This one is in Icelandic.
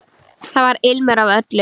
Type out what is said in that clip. Þar var ilmur af öllu.